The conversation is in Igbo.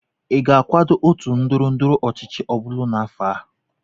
ị ga-akwado otu ndọrọ ndọrọ ọchịchị ọbụla n'afọ a?